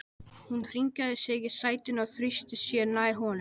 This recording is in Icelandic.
Hún hringaði sig í sætinu og þrýsti sér nær honum.